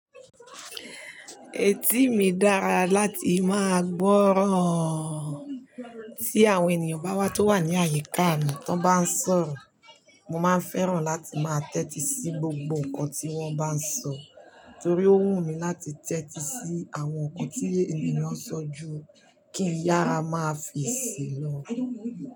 Etí mi dára láti máa gbọ́ro tí àwọn ènìyàn bá wá tó wà ní àyíká mi. Tán bá ń sọ̀rọ̀, mo máa ń fẹ́ràn láti máa tẹ́tí sí gbogbo nǹkan tí wọ́n bá ń sọ, torí ó wù mí láti tẹ́tí sí àwọn nǹkan tí ènìyàn sọ ju kí iyàrá máa fi ìṣe lọ.